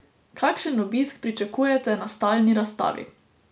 Kakšen obisk pričakujete na stalni razstavi?